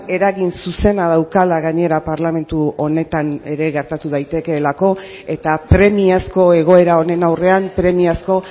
eragin zuzena daukala gainera parlamentu honetan ere gertatu daitekeelako eta premiazko egoera honen aurrean premiazko